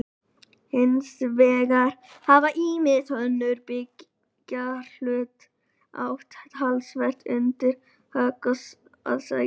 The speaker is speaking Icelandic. Hins vegar hafa ýmis önnur byggðarlög átt talsvert undir högg að sækja.